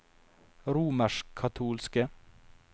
romerskkatolske